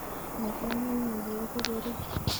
Maket ne mie koipu berur